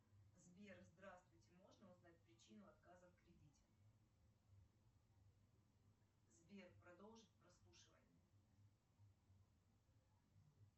сбер здравствуйте можно узнать причину отказа в кредите сбер продолжить прослушивание